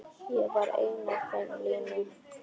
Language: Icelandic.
Ég var einn af þeim linu.